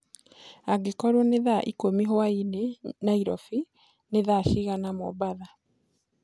angĩkorwo ni thaa ĩkũmĩ hwaĩnĩ nyairobi ni thaa cĩĩgana mombatha